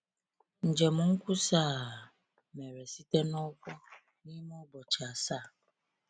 Njem nkwusa a mere site n’ụkwụ, n’ime ụbọchị asaa.